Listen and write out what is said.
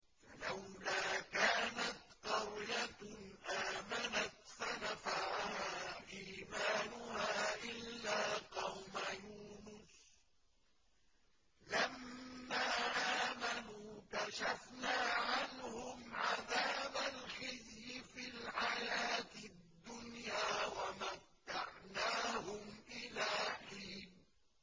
فَلَوْلَا كَانَتْ قَرْيَةٌ آمَنَتْ فَنَفَعَهَا إِيمَانُهَا إِلَّا قَوْمَ يُونُسَ لَمَّا آمَنُوا كَشَفْنَا عَنْهُمْ عَذَابَ الْخِزْيِ فِي الْحَيَاةِ الدُّنْيَا وَمَتَّعْنَاهُمْ إِلَىٰ حِينٍ